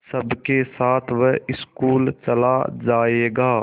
सबके साथ वह स्कूल चला जायेगा